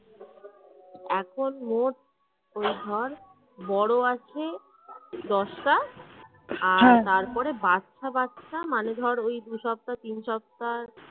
এখন মোট ওই ধর বড় আছে দশটা, আর হা তারপরে বাচ্চা বাচ্চা মানে ধর ওই দুই সপ্তাহ তিন সপ্তাহ